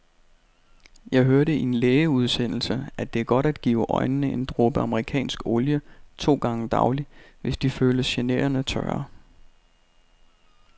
Jeg hørte i en lægeudsendelse, at det er godt at give øjnene en dråbe amerikansk olie to gange daglig, hvis de føles generende tørre.